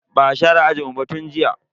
Ba a share ajinmu ba tun jiya.